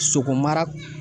Soko mara